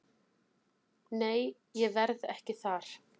Nei ég verð ekki þar.